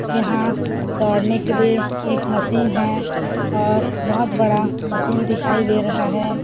यहाँ दौड़ने के लिए एक मशीन है और बहुत बड़ा मशीन दिखाई दे रहा है।